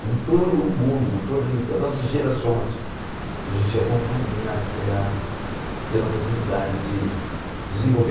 com todo mundo, com todas com todas as gerações, a gente ia ia tendo a oportunidade de desenvolver.